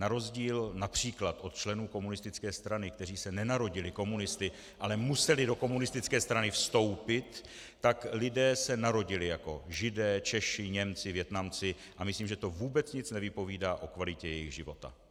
Na rozdíl například od členů komunistické strany, kteří se nenarodili komunisty, ale museli do komunistické strany vstoupit, tak lidé se narodili jako Židé, Češi, Němci, Vietnamci, a myslím, že to vůbec nic nevypovídá o kvalitě jejich života.